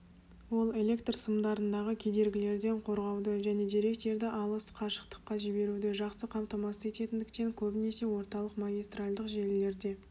ол электр сымдарындағы кедергілерден қорғауды және деректерді алыс қашықтыққа жіберуді жақсы қамтамасыз ететіндіктен көбінесе орталық магистральдық желілерде